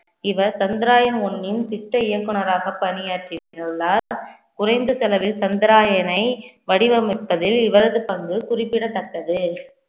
இவர் சந்திரயான் one ன் திட்ட இயக்குனராக பணியாற்றியுள்ளார் குறைந்த செலவில் சந்திராயனை வடிவமைப்பதில் இவரது பங்கு குறிப்பிடத்தக்கது